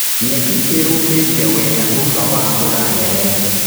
Nyeki ĩraumĩrire wega thutha wa mbura nene.